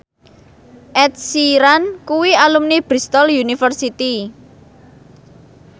Ed Sheeran kuwi alumni Bristol university